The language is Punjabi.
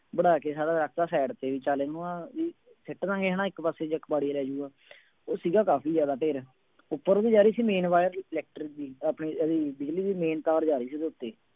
ਵਡਾ ਕੇ ਸਾਰਾ ਰੱਖ ਦਿੱਤਾ side ਤੇ ਵੀ ਚੱਲ ਇਹਨੂੰ ਵੀ ਸੁੱਟ ਦੇਵਾਂਗੇ ਹਨਾ ਇੱਕ ਪਾਸੇ ਜਾਂ ਕਬਾੜੀਆ ਲੈ ਜਾਊਗਾ ਉਹ ਸੀਗਾ ਕਾਫ਼ੀ ਜ਼ਿਆਦਾ ਢੇਰ ਉੱਪਰੋਂ ਦੀ ਜਾ ਰਹੀ ਸੀ main wire reflector ਦੀ ਆਪਣੀ ਉਹਦੀ ਬਿਜ਼ਲੀ ਦੀ main ਤਾਰ ਜਾ ਰਹੀ ਉਹਦੇ ਉੱਤੇ।